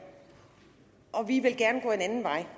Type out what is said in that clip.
og vi vil gerne gå en anden vej